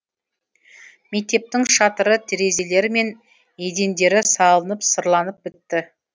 мектептің шатыры терезелері мен едендері салынып сырланып бітті